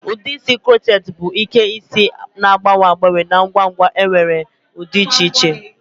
Ụdị edozi isi crochet bụ Ike isi na-agbanwe agbanwe na ngwa ngwa nwere ụdị dị iche iche.